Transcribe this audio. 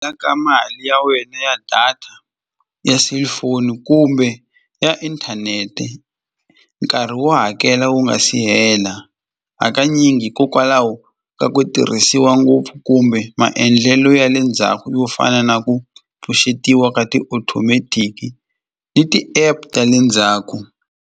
ka mali ya wena ya data ya cellphone kumbe ya inthanete nkarhi wo hakela wu nga si hela hakanyingi ko hikwalaho ka ku tirhisiwa ngopfu kumbe maendlelo ya le ndzhaku yo fana na ku pfuxetiwa ka ti-automatic ni ti-app ta le ndzhaku.